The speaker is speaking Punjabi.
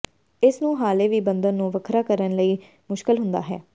ਇਸ ਨੂੰ ਹਾਲੇ ਵੀ ਬੰਧਨ ਨੂੰ ਵੱਖਰਾ ਕਰਨ ਲਈ ਮੁਸ਼ਕਲ ਹੁੰਦਾ ਹੈ